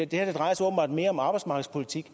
det her drejer sig åbenbart mere om arbejdsmarkedspolitik